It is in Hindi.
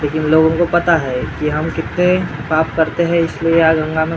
लेकिन लोगों को पता है की हम कितने पाप करते है इसलिए यहाँ गंगा में सबसे ज्यादा --